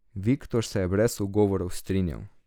Viktor se je brez ugovorov strinjal.